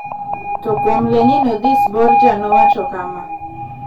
To kuom LeninOdhis, Borja nowacho kama: